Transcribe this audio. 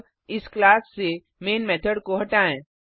अब इस क्लास से मैन मेथड को हटाएँ